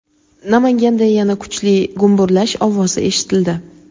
Namanganda yana kuchli gumburlash ovozi eshitildi.